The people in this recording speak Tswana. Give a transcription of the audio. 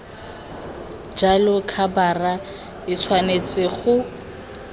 jalo khabara e tshwanetse go